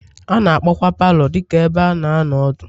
A na-akpọkwa palọ dị ka ebe a na-anọ ọdụ.